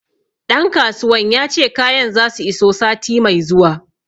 Ɗan kasuwan ya ce kayan za su iso sati mai zuwa